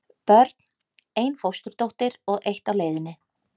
Börn: Ein fósturdóttir og eitt á leiðinni.